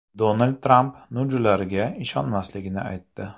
Donald Tramp NUJlarga ishonmasligini aytdi.